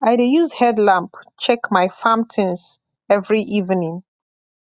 i dey use headlamp check my farm things every evening